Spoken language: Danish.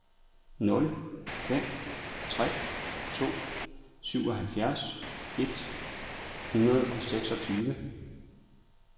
nul fem tre to syvoghalvfjerds et hundrede og seksogtyve